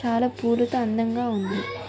చాలా పూలతో అందంగా వుంది .